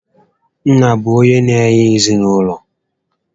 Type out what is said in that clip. Nna bụ onyé na-enye ezinaụlọ